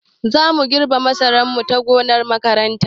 Zamu girbe masarar mu ta gonar makaranta